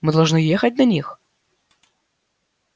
мы должны ехать на них